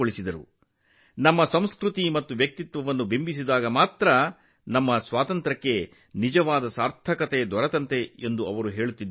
ನಮ್ಮ ಸ್ವಾತಂತ್ರ್ಯವು ನಮ್ಮ ಸಂಸ್ಕೃತಿ ಮತ್ತು ಅಸ್ಮಿತೆಯನ್ನು ವ್ಯಕ್ತಪಡಿಸಿದಾಗ ಮಾತ್ರ ಅರ್ಥಪೂರ್ಣವಾಗಿರುತ್ತದೆ ಎಂದು ಅವರು ಹೇಳುತ್ತಿದ್ದರು